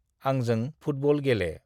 आंजों फुटबल गेले।